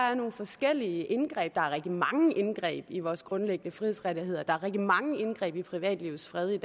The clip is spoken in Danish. er nogle forskellige indgreb der foretages rigtig mange indgreb i vores grundlæggende frihedsrettigheder og der er rigtig mange indgreb i privatlivets fred